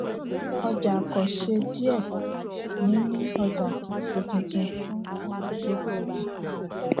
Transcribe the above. ọjà àkọṣe díẹ níní ọjà kìí ṣe tuntun fún fún olùdókòwò